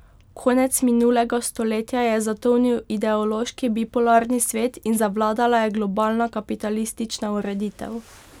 Konec minulega stoletja je zatonil ideološki bipolarni svet in zavladala je globalna kapitalistična ureditev.